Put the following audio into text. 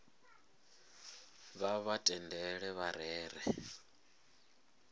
vha vha tendele vha rere